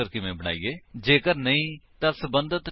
ਜੇਕਰ ਨਹੀਂ ਤਾਂ ਸਬੰਧਤ ਟਿਊਟੋਰਿਅਲ ਲਈ ਇਸ ਵੇਬਸਾਈਟ ਉੱਤੇ ਜਾਓ